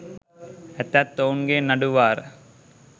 ඇතත් ඔවුන් ගේ නඩු වාර